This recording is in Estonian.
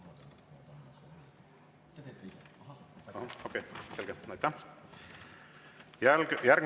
Lugupeetud Riigikogu esimees!